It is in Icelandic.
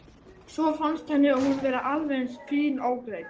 Svo fannst henni hún vera alveg eins fín ógreidd.